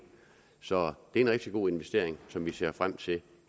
så det er en rigtig god investering som vi ser frem til